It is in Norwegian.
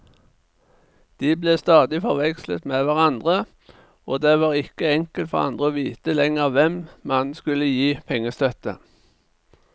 De ble stadig forvekslet med hverandre, og det var ikke enkelt for andre å vite lenger hvem man skulle gi pengestøtte.